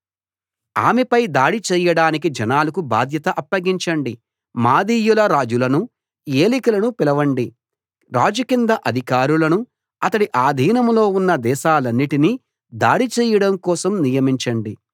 ఆమెపై దాడి చేయడానికి జనాలకు బాధ్యత అప్పగించండి మాదీయుల రాజులను ఏలికలను పిలవండి రాజు కింద అధికారులను అతడి ఆధీనంలో ఉన్న దేశాలన్నిటినీ దాడి చేయడం కోసం నియమించండి